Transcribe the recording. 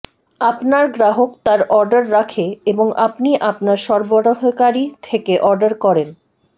আপনার গ্রাহক তার অর্ডার রাখে এবং আপনি আপনার সরবরাহকারী থেকে অর্ডার করেন